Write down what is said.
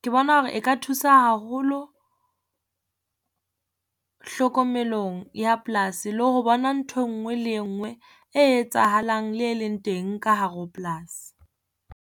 ke bona hore eka thusa haholo hlokomelong ya polasi le ho bona ntho e ngwe le e ngwe e etsahalang le e leng teng ka hare ho polasi.